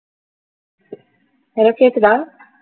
hello கேக்குதா